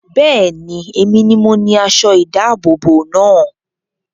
Bẹ́ẹ̀ni, èmi ni mo ni aṣọ ìdábòbò náà